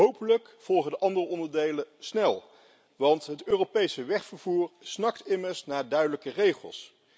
Hopelijk volgen de andere onderdelen snel, want het Europese wegvervoer snakt immers naar duidelijke regels.